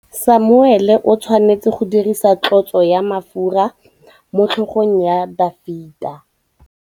Samuele o tshwanetse go dirisa tlotsô ya mafura motlhôgong ya Dafita.